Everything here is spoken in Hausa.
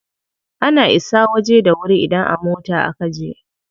Ana isa waje da wuri idan a mota a kaje.